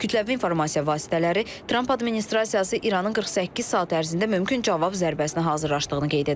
Kütləvi informasiya vasitələri Tramp administrasiyası İranın 48 saat ərzində mümkün cavab zərbəsinə hazırlaşdığını qeyd edib.